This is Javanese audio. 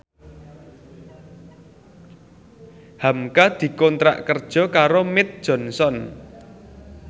hamka dikontrak kerja karo Mead Johnson